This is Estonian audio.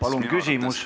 Palun küsimus!